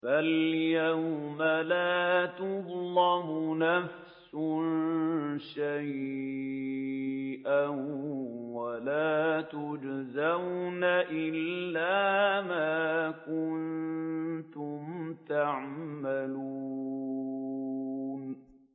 فَالْيَوْمَ لَا تُظْلَمُ نَفْسٌ شَيْئًا وَلَا تُجْزَوْنَ إِلَّا مَا كُنتُمْ تَعْمَلُونَ